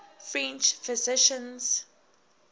french physicians